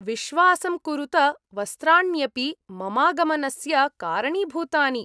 विश्वासं कुरुत, वस्त्राण्यपि ममागमनस्य कारणीभूतानि।